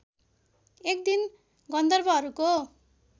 एक दिन गन्धर्वहरूको